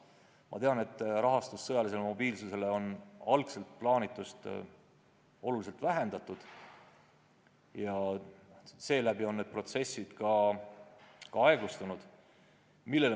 Ma tean, et sõjalise mobiilsuse arendamise rahastamist on algselt plaanituga võrreldes oluliselt vähendatud ja seetõttu on need protsessid ka aeglustunud.